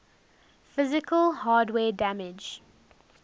physical hardware damage